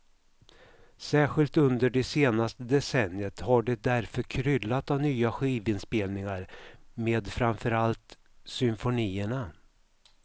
Särskilt under det senaste decenniet har det därför kryllat av nya skivinspelningar med framförallt symfonierna.